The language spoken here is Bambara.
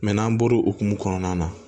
n'an bɔra o hokumu kɔnɔna na